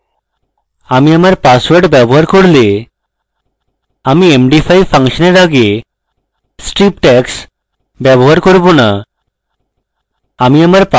আমি আমার পাসওয়ার্ড ব্যবহার করলে আমি md5 ফাংশনের আগে strip tags ব্যবহার করব না